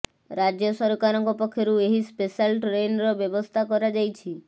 ରାଜ୍ୟ ସରକାରଙ୍କ ପକ୍ଷରୁ ଏହି ସ୍ପେଶାଲ ଟ୍ରେନ୍ର ବ୍ୟବସ୍ଥା କରାଯାଇଛି